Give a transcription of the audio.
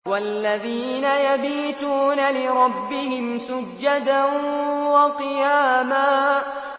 وَالَّذِينَ يَبِيتُونَ لِرَبِّهِمْ سُجَّدًا وَقِيَامًا